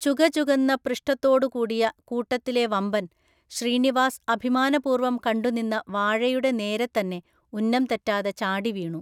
ചുകചുകന്ന പൃഷ്ഠത്തോടുകൂടിയ കൂട്ടത്തിലെ വമ്പൻ, ശ്രീനിവാസ് അഭിമാനപൂർവം കണ്ടുനിന്ന വാഴയുടെ നേരെത്തന്നെ ഉന്നംതെറ്റാതെ ചാടിവീണു.